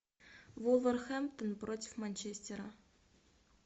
вулверхэмптон против манчестера